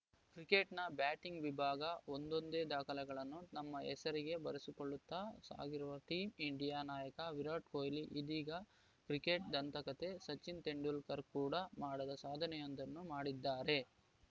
ಕ್ರಿಕೆಟ್‌ನ ಬ್ಯಾಟಿಂಗ್‌ ವಿಭಾಗದ ಒಂದೊಂದೇ ದಾಖಲೆಗಳನ್ನು ತಮ್ಮ ಹೆಸರಿಗೆ ಬರೆಸಿಕೊಳ್ಳುತ್ತಾ ಸಾಗಿರುವ ಟೀಂ ಇಂಡಿಯಾ ನಾಯಕ ವಿರಾಟ್‌ ಕೊಹ್ಲಿ ಇದೀಗ ಕ್ರಿಕೆಟ್‌ ದಂತಕತೆ ಸಚಿನ್‌ ತೆಂಡುಲ್ಕರ್‌ ಕೂಡ ಮಾಡದ ಸಾಧನೆಯೊಂದನ್ನು ಮಾಡಿದ್ದಾರೆ